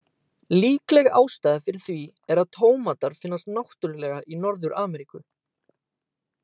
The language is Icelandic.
Líkleg ástæða fyrir því er að tómatar finnast náttúrulega í Norður-Ameríku.